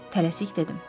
Tələsik dedim.